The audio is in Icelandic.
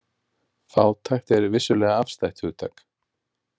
Fátækt er vissulega afstætt hugtak.